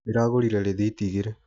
Ndĩragũrire rĩthiti igĩrĩ